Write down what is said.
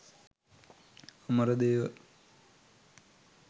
Amaradewa